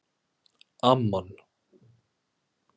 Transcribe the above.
Amman